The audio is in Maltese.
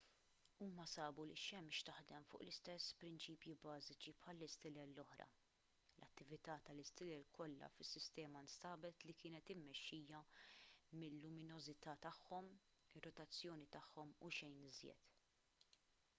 huma sabu li x-xemx taħdem fuq l-istess prinċipji bażiċi bħall-istilel l-oħra l-attività tal-istilel kollha fis-sistema nstabet li kienet immexxija mil-luminożità tagħhom ir-rotazzjoni tagħhom u xejn iżjed